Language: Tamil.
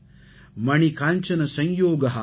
ஜனயதி லோகஸ்ய லோசன ஆனந்தம்